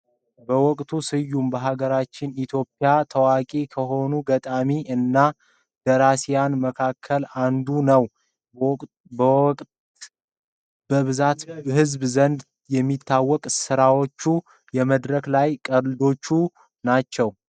በውቀቱ ስዩም በሀገራችን ኢትዮጵያ ታዋቂ ከሆኑ ገጣሚ እና ደራሲያን መካከል አንዱ ነው። በውቀት በብዛት በህዝብ ዘንድ ከሚታወቅባቸው ስራዎች የመድረክ ላይ ቀልዶች ናቸው።